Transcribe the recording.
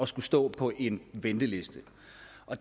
skulle stå på en venteliste